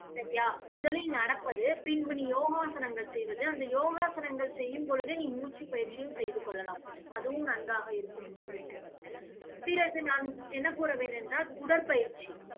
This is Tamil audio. சரியா முதலில் நடப்பது, பின்பு நீ யோகாசனங்கள் செய்வது, அந்த யோகாசனங்கள் செய்யும் பொழுதே நீ மூச்சுப் பயிற்சியும் செய்து கொள்ளலாம். அதுவும் நன்றாக இருக்கும் உடம்பிற்கு பிறகு நான் என்ன கூறுவேன் என்றால் உ~ உடற்பயிற்சி